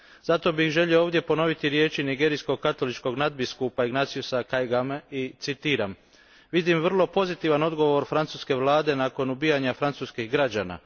Zato bih želio ovdje ponoviti riječi nigerijskog katoličkog nadbiskupa Ignatiusa Kaigame i citiram Vidim vrlo pozitivan odgovor francuske Vlade nakon ubijanja francuskih građana.